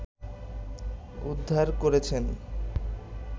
উদ্ধার করেছেন